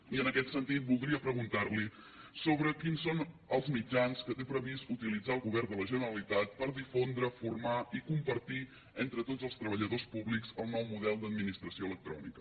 i en aquest sentit voldria preguntar li sobre quins són els mitjans que té previst utilitzar el govern de la generalitat per difondre formar i compartir entre tots els treballadors públics el nou model d’administració electrònica